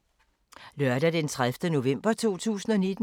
Lørdag d. 30. november 2019